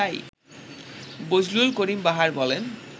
বজলুল করিম বাহার বলেন